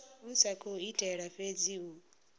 sa khou itela fhedzi u